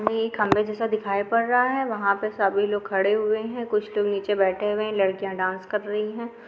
य एक खंभे जेसा दिखाई पड रहा है वहा पे सभी लोग खड़े हुए है कुछ लोग नीचे बेठे हुए है लड़किया डांस कर रही है।